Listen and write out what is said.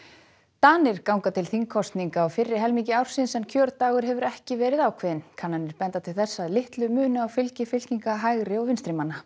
Danir ganga til þingkosninga á fyrri helmingi ársins en kjördagur hefur ekki verið ákveðinn kannanir benda til þess að litlu muni á fylgi fylkinga hægri og vinstrimanna